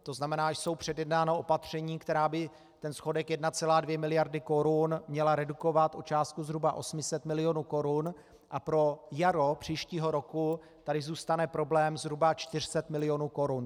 To znamená, jsou předjednána opatření, která by ten schodek 1,2 miliardy korun měla redukovat o částku zhruba 800 milionů korun a pro jaro příštího roku tady zůstane problém zhruba 400 milionů korun.